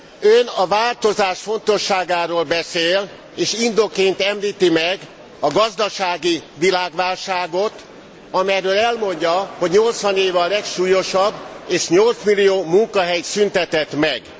Ön a változás fontosságáról beszél, és indokként említi meg a gazdasági világválságot, amelyről elmondja, hogy 80 éve a legsúlyosabb és 8 millió munkahelyet szüntetett meg.